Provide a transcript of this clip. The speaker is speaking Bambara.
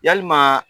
Yalima